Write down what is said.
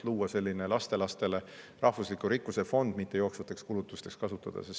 Võiks luua lastelastele rahvusliku rikkuse fondi, mitte seda jooksvateks kulutusteks kasutada.